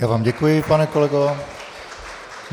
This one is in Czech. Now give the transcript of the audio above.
Já vám děkuji, pane kolego.